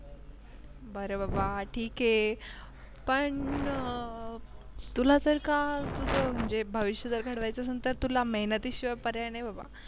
बर बाबा ठीक आहे पण अं तुला तर काय तुझं भविष्य जर तुला घडवायचं असेल तर तुला मेहनतीशिवाय पर्याय नाही बाबा